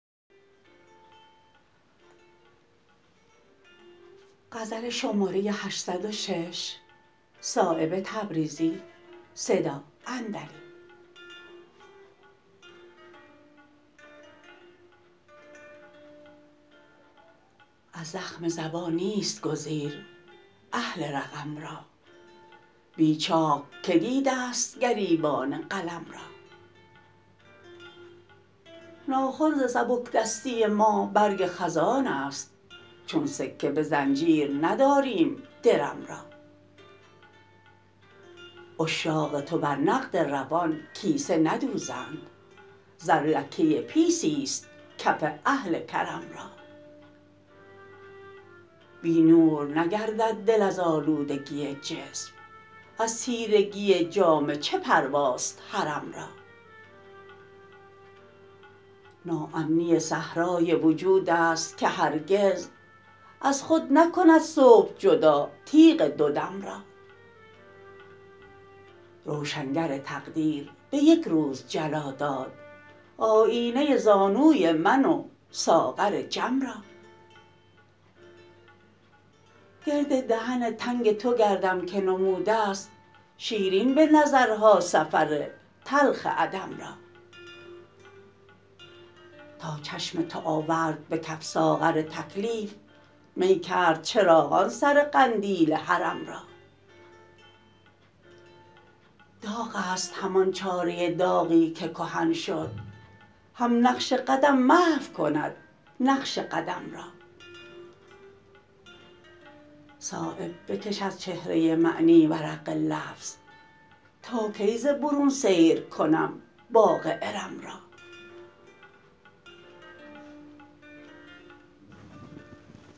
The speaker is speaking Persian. از زخم زبان نیست گزیر اهل رقم را بی چاک که دیده است گریبان قلم را ناخن ز سبکدستی ما برگ خزان است چون سکه به زنجیر نداریم درم را عشاق تو بر نقد روان کیسه ندوزند زر لکه پیسی است کف اهل کرم را بی نور نگردد دل از آلودگی جسم از تیرگی جامه چه پرواست حرم را ناامنی صحرای وجودست که هرگز از خود نکند صبح جدا تیغ دو دم را روشنگر تقدیر به یک روز جلا داد آیینه زانوی من و ساغر جم را گرد دهن تنگ تو گردم که نموده است شیرین به نظرها سفر تلخ عدم را تا چشم تو آورد به کف ساغر تکلیف می کرد چراغان سر قندیل حرم را داغ است همان چاره داغی که کهن شد هم نقش قدم محو کند نقش قدم را صایب بکش از چهره معنی ورق لفظ تا کی ز برون سیر کنم باغ ارم را